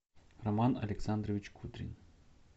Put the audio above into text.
роман александрович кудрин